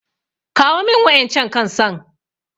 Kawo min waƴancan kan san.